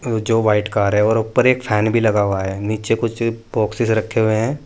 जो white car है और ऊपर एक फैन भी लगा हुआ है नीचे कुछ बॉक्सेस रखे हुए है।